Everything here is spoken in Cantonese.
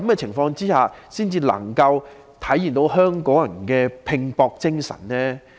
是否這樣才能夠體現香港人的拼搏精神？